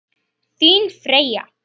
Þín Freyja.